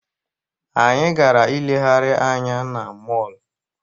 Anyị gara ilegharị anya na mọọlụ.